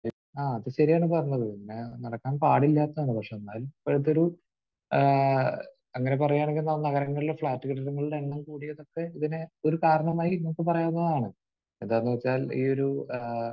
ആഹ്. അത് ശരിയാണ് പറഞ്ഞത്. പിന്നെ നടക്കാൻ പാടില്ലാത്തതാണ്. പക്ഷെ എന്നാലും ഇപ്പോഴത്തെയൊരു ഏഹ് അങ്ങനെ പറയുകയാണെങ്കിൽ നഗരങ്ങളിലെ ഫ്‌ളാറ്റുകളുടെ എണ്ണം കൂടിയതൊക്കെ ഇതിന് ഒരു കാരണമായി നമുക്ക് പറയാവുന്നതാണ്. എന്താണെന്ന് വെച്ചാൽ ഈ ഒരു ഏഹ്